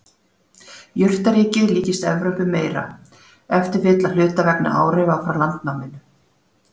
Jurtaríkið líkist Evrópu meira, ef til vill að hluta vegna áhrifa frá landnáminu.